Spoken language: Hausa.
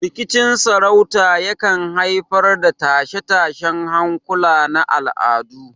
Rikicin sarauta yakan haifar da tashe-tashen hankula na al'adu.